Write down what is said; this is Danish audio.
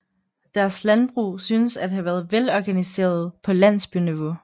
Deres landbrug synes at have været velorganiseret på landsbyniveau